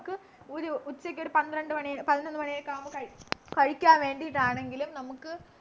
നമുക്ക് ഒരു ഉച്ചയ്‌ക്കൊരു പന്ത്രണ്ടു മണി പതിനൊന്നു മണിയൊക്കെയാവുമ്പോ കഴി കഴിക്കാൻ വേണ്ടിട്ടാണെങ്കിലും നമക്ക്